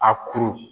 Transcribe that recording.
A kuru